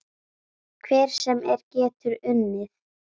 Hver sem er getur unnið.